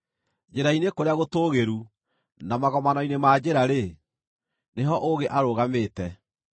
Njĩra-inĩ kũrĩa gũtũũgĩru, na magomano-inĩ ma njĩra-rĩ, nĩho ũũgĩ arũgamĩte;